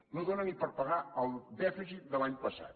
no dóna ni per pagar el dèficit de l’any passat